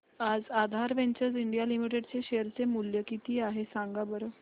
आज Aadhar ventures India limited चे share चे मूल्य किती आहे सांगा बरं